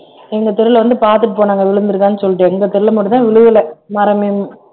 எங்க தெருவுல வந்து பாத்துட்டு போனாங்க விழுந்திருக்கான்னு சொல்லிட்டு எங்க தெருவுல மட்டும்தான் விழுகலை மரமே